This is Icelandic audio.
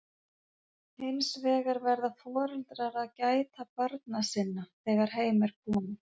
hins vegar verða foreldrar að gæta barna sinna þegar heim er komið